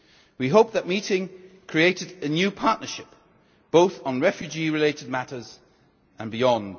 We hope that the meeting created a new partnership both on refugee related matters and beyond.